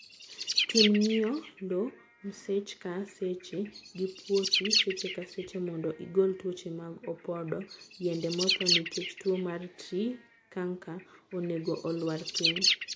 Tim ngiyo lowo msech ka seche, ngii puothi secche ka seche mondo igol tuoche mag opodo. Yiende mothoo nikech tuo mar tree canker onego oluar piny.